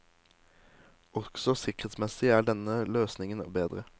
Også sikkerhetsmessig er denne løsningen bedre.